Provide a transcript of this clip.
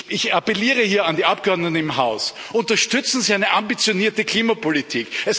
Ich appelliere hier an die Abgeordneten im Haus Unterstützen Sie eine ambitionierte Klimapolitik!